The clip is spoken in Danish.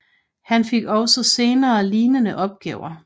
Han fik også senere lignende opgaver